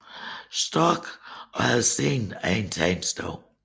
Storck og havde siden egen tegnestue